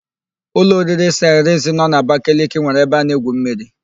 Ụlọ oriri Saịrịns nọ n'Abakaliki nwere ebe a na-egwu mmiri.